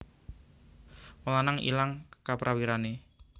Wong lanang ilang kaprawirane